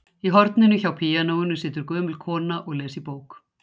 Í horninu hjá píanóinu situr gömul kona og les í bók.